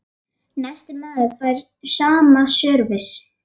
En næsti maður fær sama sörvis.